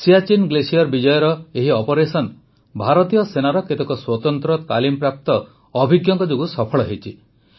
Siachen glacier ବିଜୟର ଏହି operation ଭାରତୀୟ ସେନାର କେତେକ ସ୍ୱତନ୍ତ୍ର ତାଲିମପ୍ରାପ୍ତ ଅଭିଜ୍ଞଙ୍କ ଯୋଗୁଁ ସଫଳ ହୋଇଛି